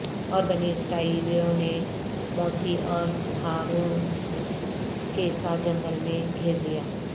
اور بنی اسرائیلیوں نے موسی اور ہارون کے ساتھ جنگل میں گھیر لیا